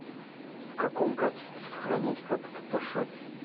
в каком качестве сохранять фото в фотошопе